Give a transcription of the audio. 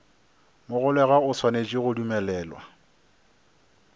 mogolegwa o swanetše go dumelelwa